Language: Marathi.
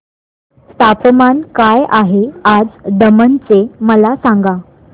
तापमान काय आहे आज दमण चे मला सांगा